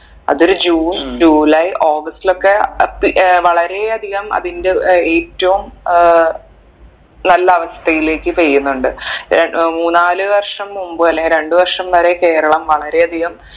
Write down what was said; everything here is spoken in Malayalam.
അതൊരു ജൂൺ ജൂലൈ ആഗസ്റ്റിലൊക്കെ അപ്പി ഏർ വളരെ അധികം അതിന്റെ ഏർ ഏറ്റവും ഏർ നല്ല അവസ്ഥയിലേക്ക് പെയ്യുന്നുണ്ട് ഏർ മൂന്നാല് വർഷം മുമ്പ് അല്ലെങ്കി രണ്ട് വർഷം വരെ കേരളം വളരെ അധികം